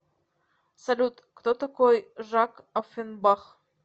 салют кто такой жак оффенбах